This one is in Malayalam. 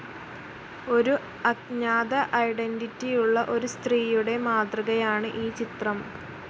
ഒരു അജ്ഞാത ഐഡൻറിറ്റിയുള്ള ഒരു സ്ത്രീയുടെ മാതൃകയാണ് ഈ ചിത്രം.